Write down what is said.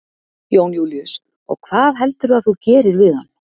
Jón Júlíus: Og hvað heldurðu að þú gerir við hann?